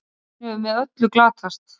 Hún hefur með öllu glatast.